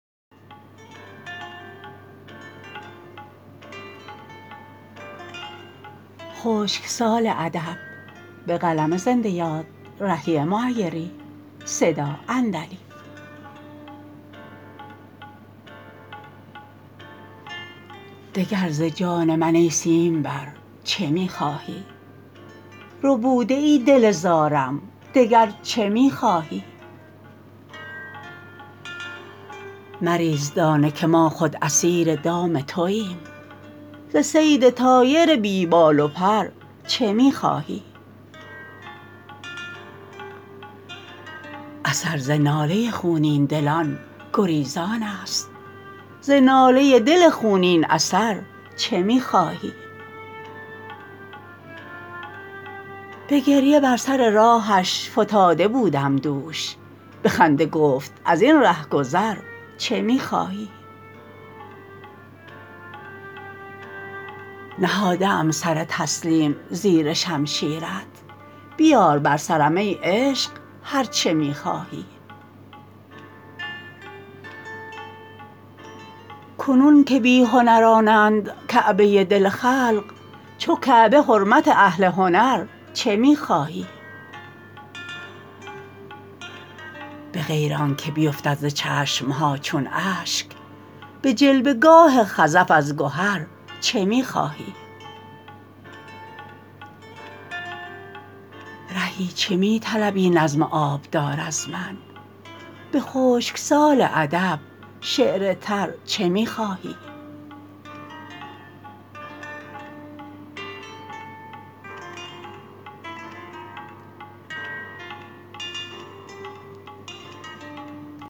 دگر ز جان من ای سیم بر چه می خواهی ربوده ای دل زارم دگر چه می خواهی مریز دانه که ما خود اسیر دام توایم ز صید طایر بی بال و پر چه می خواهی اثر ز ناله خونین دلان گریزان است ز ناله ای دل خونین اثر چه می خواهی به گریه بر سر راهش فتاده بودم دوش به خنده گفت از این رهگذر چه می خواهی نهاده ام سر تسلیم زیر شمشیرت بیار بر سرم ای عشق هرچه می خواهی کنون که بی هنرانند کعبه دل خلق چو کعبه حرمت اهل هنر چه می خواهی به غیر آن که بیفتد ز چشم ها چون اشک به جلوه گاه خزف از گهر چه می خواهی رهی چه می طلبی نظم آبدار از من به خشک سال ادب شعر تر چه می خواهی